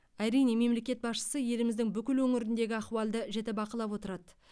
әрине мемлекет басшысы еліміздің бүкіл өңіріндегі ахуалды жіті бақылап отырады